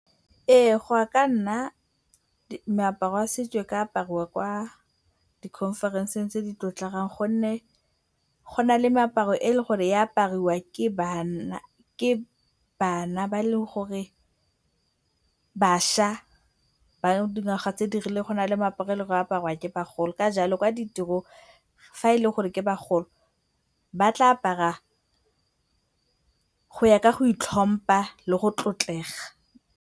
Ee, go ya ka nna meaparo ya setso e ka aparwa kwa di-conference-eng tse di tlotlegang gonne go na le meaparo e eleng gore e apariwa ke bana ba eleng gore, bašwa ba dingwaga tse di rileng. Go na le moaparo o eleng gore o aparwa ke bagolo ka jalo kwa ditirong fa e le gore ke bagolo, ba tla apara go ya ka go itlhompa le go tlotlega.